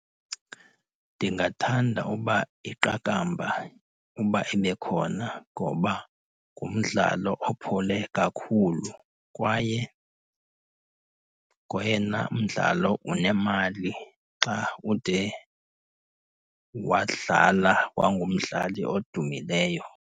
Ndingathanda uba iqakamba uba ibe khona. Ngoba ngumdlalo opholileyo kakhulu kwaye ngoyena mdlalo unemali xa ude wadlala wangumdlali odumileyo.